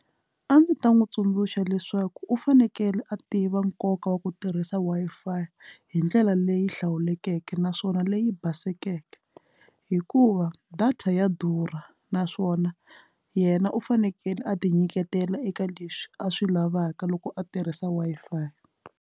A ndzi ta n'wi tsundzuxa leswaku u fanekele a tiva nkoka wa ku tirhisa. Wi-Fi hi ndlela leyi hlawulekeke naswona leyi baseke hikuva data ya durha naswona yena u fanekele a ti nyiketela eka leswi a swi lavaka loko a tirhisa Wi-Fi.